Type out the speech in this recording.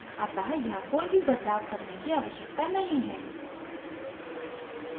अतः यहाँ कोई भी बदलाव करने की आवश्यकता नहीं है